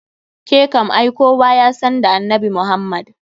Ke kam ai kowa yasan da annabi Muhammda.